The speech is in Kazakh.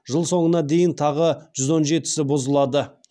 жыл соңына дейін тағы жүз он жетісі бұзылады